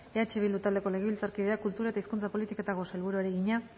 eh bildu taldeko legebiltzarkideak kultura eta hizkuntza politikako sailburuari egina